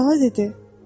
Krala dedi: